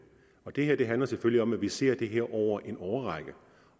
det her handler selvfølgelig om at vi ser på det her over en årrække